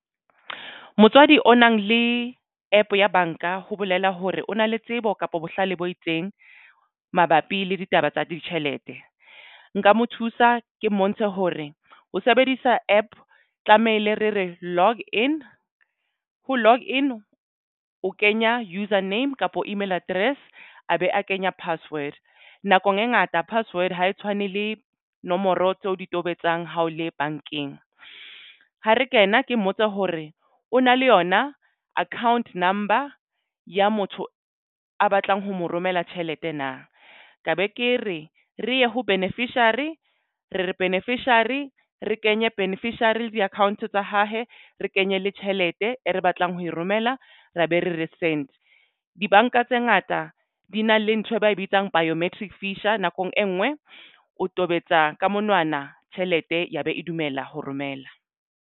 Motswadi o nang le APP ya banka ho bolela hore o na le tsebo kapo bohlale bo itseng mabapi le ditaba tsa ditjhelete. Nka mo thusa ke mmontshe hore ho sebedisa APP tlamehile re re log in, ho log in o kenya user name kapo email address a be a kenya password nakong e ngata password ha e tshwane le nomoro tseo o di tobetsang hao le bankeng. Ha re kena ke mmotse hore o na le yona account number ya motho a batlang ho mo romela tjhelete na ka be ke re re ye ho beneficiary re re beneficiary re kenye beneficiary le di-account tsa ha he re kenye le tjhelete e re batlang ho e romela re be re re send. Dibanka tse ngata di na le nthwe ba e bitsang biometrics feature nakong e nngwe o tobetsa ka monwana tjhelete ya be e dumela ho romela.